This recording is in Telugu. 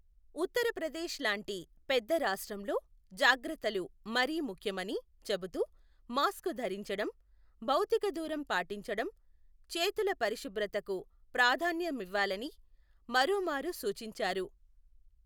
ఉత్తరప్రదేశ్ లాంటి పెద్ద రాష్ట్రంలో జాగ్రత్తలు మరీ ముఖ్యమని చెబుతూ మాస్కు ధరించటం, భౌతిక దూరం పాటించటం, చేతుల పరిఉశుభ్రతకు ప్రాధాన్యమివ్వాలని మరోమారు సూచించారు.